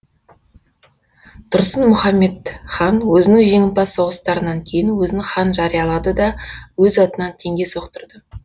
тұрсын мұхаммед хан өзінің жеңімпаз соғыстарынан кейін өзін хан жариялады да өз атынан теңге соқтырды